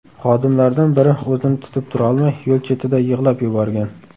Xodimlardan biri o‘zini tutib turolmay, yo‘l chetida yig‘lab yuborgan.